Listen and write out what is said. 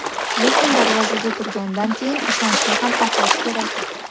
Lekin darvozaga turgandan keyin ishonchni ham oqlash kerak.